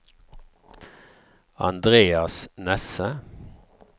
Andreas Nesse